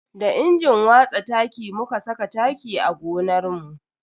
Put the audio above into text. Da injin watsa taki muka saka taki a gonarmu.